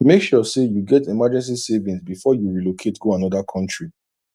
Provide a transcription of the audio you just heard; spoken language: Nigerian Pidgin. make sure say you get emergency savings before you relocate go another country